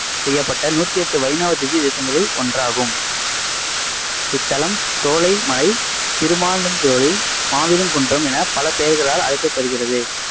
செய்யப்பட்ட நூத்தி எட்டு வைணவ திவ்யதேசங்களுள் ஒன்றாகும் இத்தலம் சோலை மலை, திருமாலிருஞ்சோலை, மாவிருங்குன்றம் என பெயர்களால் அழைக்கப்படுகிறது.